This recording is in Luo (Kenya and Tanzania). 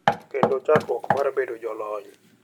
Kendo chakruok mar bedo jolony